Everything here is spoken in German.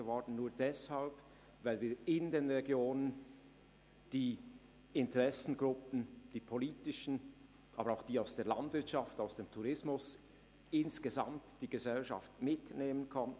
Es wurde nur deshalb zur Erfolgsgeschichte, weil wir in den Regionen die Interessengruppen der Politik, der Landwirtschaft und des Tourismus und die Gesellschaft insgesamt mitnehmen konnten.